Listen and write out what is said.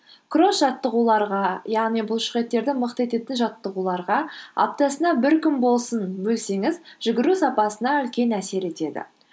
кросс жаттығуларға яғни бұлшықеттерді мықты ететін жаттығуларға аптасына бір күн болсын бөлсеңіз жүгіру сапасына үлкен әсер етеді